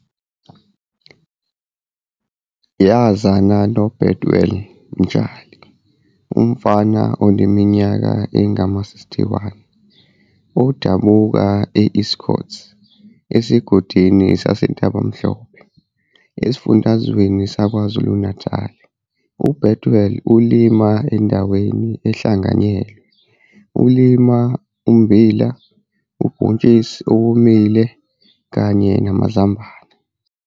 Yazana noBethuel Mtshali, umfama oneminyaka engama-61, odabuka e-Estcourt esigodini saseNtabamhlope esifundazweni saKwaZulu-Natali. UBethuel ulima endaweni ehlanganyelwe elima ummbila, ubhontshisi owomile kanye namazambane.